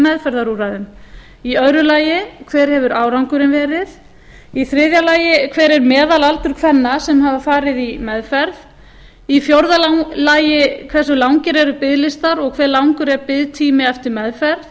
meðferðarúrræðum annar hver hefur árangurinn verið þriðji hver er meðalaldur kvenna sem hafa farið í meðferð fjórða hve langir eru biðlistar og hve langur er biðtími eftir meðferð